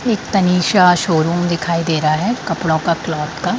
एक तनिशा शोरूम दिखाई दे रहा है कपड़ों का क्लॉथ का।